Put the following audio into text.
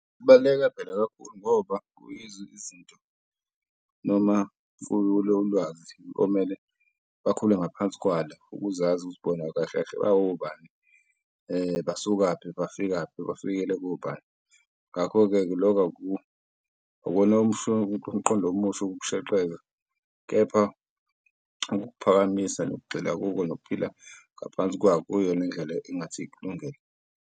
Kubaluleke phela kakhulu ngoba kuyizo izinto noma ulwazi okumele bakhule ngaphansi kwalo ukuzazi ukuthi bona kahle kahle bawobani basukaphi, bafikaphi, bafikele kobani. Ngakho-ke loko akuwona umqondo omusha, ukushaqeka, kepha ukuphakamisa nokugxila kuko nokuphila ngaphansi kuyo lendlela engathi ikulungele.